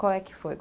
Qual é que foi?